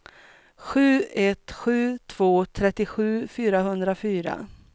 sju ett sju två trettiosju fyrahundrafyra